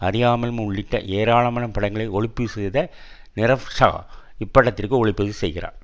அறியாமலும் உள்ளிட்ட ஏராளமான படங்களை ஒளிப்பதிவு செய்த நீரவ்ஷா இப்படத்திற்கு ஒளிப்பதிவு செய்கிறார்